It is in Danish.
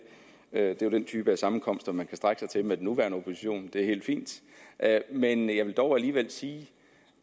er jo den type af sammenkomster man kan strække sig til med den nuværende opposition og det er helt fint men jeg vil dog alligevel sige